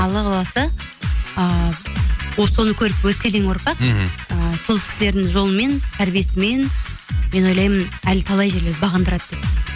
алла қаласа ыыы вот соны көріп өскелең ұрпақ мхм і сол кісілердің жолымен тәрбиесімен мен ойлаймын әлі талай жерлерді бағындырады деп